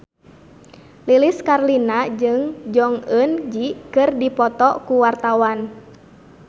Lilis Karlina jeung Jong Eun Ji keur dipoto ku wartawan